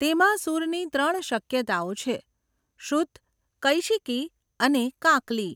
તેમાં સૂરની ત્રણ શક્યતાઓ છે, શુદ્ધ, કૈશિકી અને કાકલી.